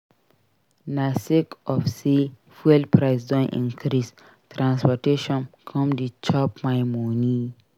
Na sake of sey fuel price don increase transportation come dey chop my moni.